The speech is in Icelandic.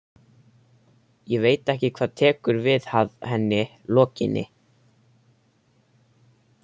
Ég veit ekki hvað tekur við að henni lokinni.